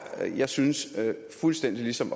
jeg synes fuldstændig ligesom